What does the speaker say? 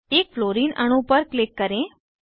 एक फ्लोरीन अणु पर क्लिक करें